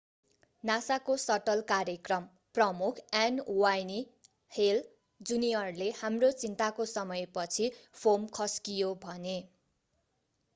nasa को shuttle कार्यक्रम प्रमुख n. wayne hale jr.ले हाम्रो चिन्ताको समयपछि फोम खस्कियो”भने।